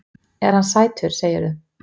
Er hann sætur, segirðu?